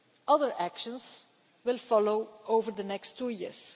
Other actions will follow over the next two years.